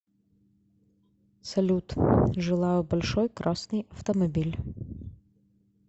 салют желаю большой красный автомобиль